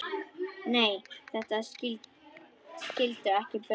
Nei, þeir skildu ekki baun.